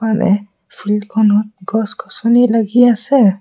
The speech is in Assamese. আনে ফিল্ডখনত গছ-গছনি লাগি আছে।